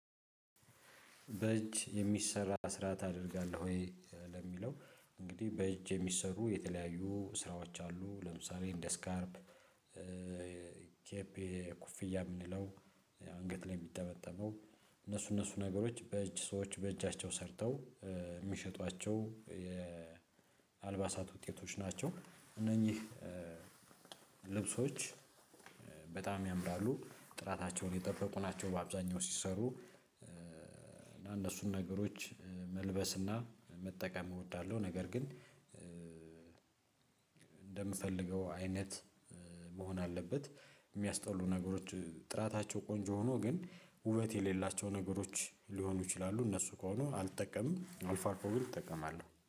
በእጅ የሚሰራ ስራ ታደርጋለህ ወይ ለሚለው? እንግዲህ በእጅ የሚሰሩ የተለያዩ ስራዎች አሉ። ለምሳሌ እንደ ስካርፕ ኬፕ ኩፍያ የምንለው አንገት ላይ የሚጠመጠመው። እነሱ እነሱ ነገሮች በእጅ ሰዎች በእጃቸው ሰርተው የሚሸጧቸው የአልባሳት ውጤቶች ናቸው። እነኚህ ልብሶች በጣም ያምራሉ ጥራታቸውን የጠበቁ ናቸው። በአብዛኛው ሲሰሩ እነሱን ነገሮች መልበስና መጠቀም እወዳለሁ። ነገር ግን። እንደምፈልገው አይነት መሆን አለበት የሚያስጠሉ ነገሮች ጥራታቸው ቆንጆ ሆኖ ግን ውበት የሌላቸው ነገሮች ሊሆኑ ይችላሉ። እነሱ ከሆኑ አልጠቀምም አልፎ አልፎ ግን እጠቀማለሁ